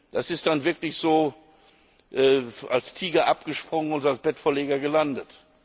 Das ist dann wirklich so, wie als Tiger abgesprungen und als Bettvorleger gelandet.